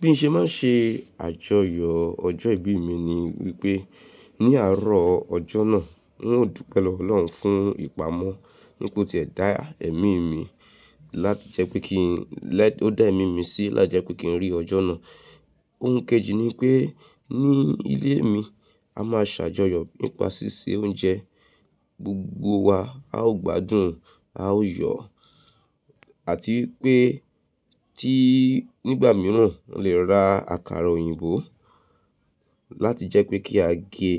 Bí mo ṣe ma n ṣe àjọyọ̀ ọjọ́ ìbí mi ni wípé ní àárọ̀ ọjọ́ náà ń ò dùpẹ́ lọwọ Ọlọ́hun fún ìpamọ́ wipe o ti ẹ dá ẹ̀mi mí láti jẹ́ pé kí n lè, o dá ẹ̀mi mí sí láti jẹ́ pé kí n rí ọjọ́ náà. Ohun kejì ni pé ní ilé mi, a máa ṣàjọyọ̀ nípa ṣíṣe oúnjẹ, gbogbo wa a ó gbádùn a ó yọ̀ àti pé tí nígbà míràn lè ra àkàrà òyìnbó láti jẹ́ pé kí a gé